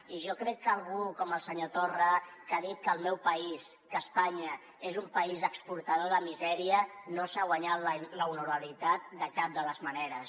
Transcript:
i jo crec que algú com el senyor torra que ha dit que el meu país que espanya és un país exportador de misèria no s’ha guanyat l’honorabilitat de cap de les maneres